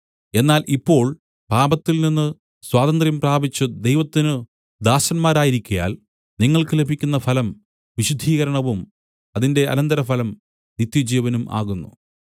എന്നാൽ ഇപ്പോൾ പാപത്തിൽനിന്ന് സ്വാതന്ത്ര്യം പ്രാപിച്ചു ദൈവത്തിന് ദാസന്മാരായിരിക്കയാൽ നിങ്ങൾക്ക് ലഭിക്കുന്ന ഫലം വിശുദ്ധീകരണവും അതിന്റെ അനന്തരഫലം നിത്യജീവനും ആകുന്നു